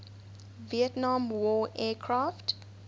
vietnam war aircraft